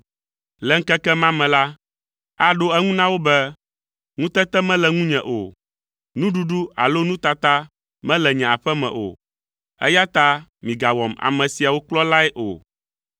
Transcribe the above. Le ŋkeke ma me la, aɖo eŋu na wo be, “Ŋutete mele ŋunye o, nuɖuɖu alo nutata mele nye aƒe me o, eya ta migawɔm ame siawo kplɔlae o.”